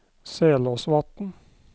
Selåsvatn